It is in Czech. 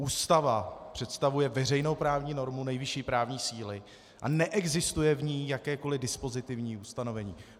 Ústava představuje veřejnou právní normu nejvyšší právní síly a neexistuje v ní jakékoli dispozitivní ustanovení.